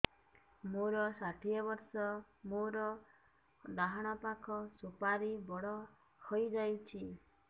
ମୋର ଷାଠିଏ ବର୍ଷ ମୋର ଡାହାଣ ପାଖ ସୁପାରୀ ବଡ ହୈ ଯାଇଛ